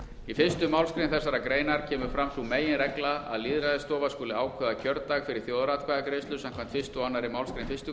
í fyrstu málsgrein þessarar greinar kemur fram sú meginregla að lýðræðisstofa skuli ákveða kjördag fyrir þjóðaratkvæðagreiðslu samkvæmt fyrstu og annarri málsgrein fyrstu grein